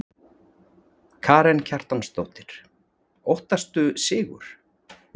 Karen Kjartansdóttir: Óttastu sigur?